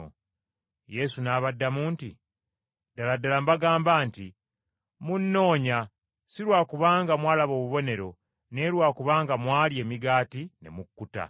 Yesu n’abaddamu nti, “Ddala ddala mbagamba nti munnoonya si lwa kubanga mwalaba obubonero, naye lwa kubanga mwalya emigaati ne mukkuta.